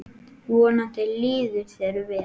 Vonandi líður þér vel.